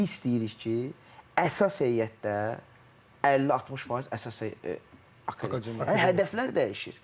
İndi istəyirik ki, əsas heyətdə 50-60% əsas Hədəflər dəyişir.